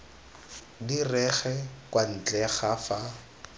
direge kwa ntle ga fa